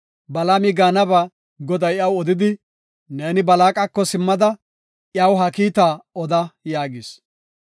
Balaami gaanaba Goday iyaw odidi, “Neeni Balaaqako simmada iyaw ha kiita oda” yaagis.